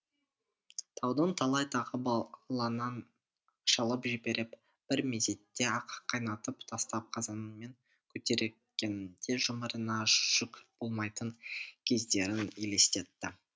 таудың талай тағы бағланын шалып жіберіп бір мезетте ақ қайнатып тастап қазанымен көтергенінде жұмырына жүк болмайтын кездерін елестетті